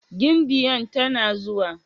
Gimbiyan tana zuwa?